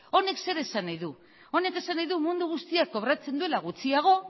honek zer esan nahi du honek esan nahi du mundu guztiak kobratzen duela gutxiago